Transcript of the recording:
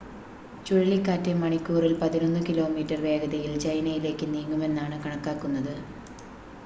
ചുഴലിക്കാറ്റ് മണിക്കൂറിൽ പതിനൊന്ന് കിലോമീറ്റർ വേഗതയിൽ ചൈനയിലേക്ക് നീങ്ങുമെന്നാണ് കണക്കാക്കുന്നത്